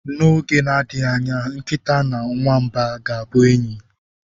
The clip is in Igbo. N'oge na-adịghị anya, nkịta na nwamba ga-abụ enyi.